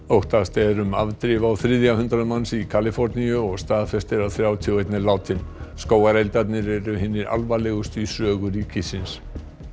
óttast er um afdrif á þriðja hundrað manns í Kaliforníu og staðfest er að þrjátíu og einn er látinn skógareldarnir eru hinir alvarlegustu í sögu ríkisins